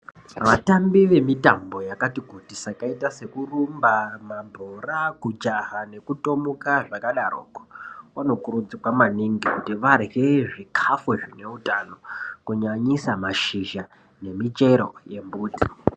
Vatambi vemitambo yakati kuti sakaita sokurumba mabhora kujaha nekutomuka zvakadaroko vanokurudzirwa maningi kuti vadye zvikafu zvineutano kunyanyisa mashizha nemichero yemumbuti.